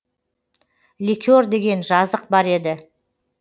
лекер деген жазық бар еді